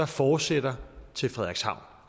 fortsætter til frederikshavn